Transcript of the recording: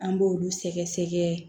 An b'olu sɛgɛ sɛgɛ